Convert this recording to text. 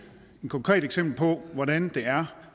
et konkret eksempel på hvordan det er